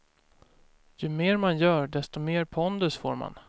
Ju mer man gör, desto mer pondus får man.